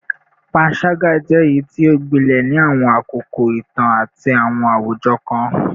Panṣaga jẹ eyiti o gbilẹ ni awọn akoko itan ati awọn awujọ kan